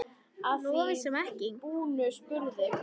Að því búnu spurði